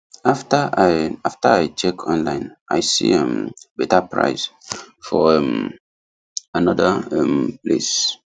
after i after i check online i see um better price for um another um place